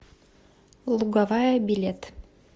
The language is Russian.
луговая билет